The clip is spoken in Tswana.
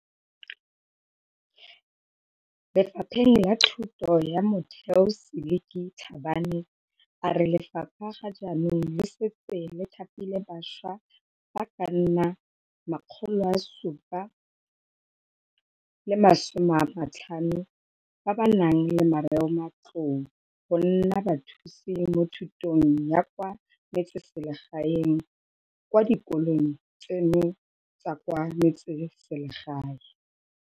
Le fapheng la Thuto ya Motheo Seliki Tlhabane, a re lefapha ga jaanong le setse le thapile bašwa ba ka nna 750 ba ba nang le marematlou go nna Bathusi mo Thutong ya kwa Metseselegae kwa dikolong tseno tsa kwa metseselegae.